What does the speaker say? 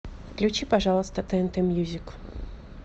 включи пожалуйста тнт мьюзик